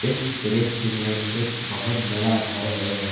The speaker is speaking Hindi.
इस दृश्य में एक बहुत बड़ा घर है।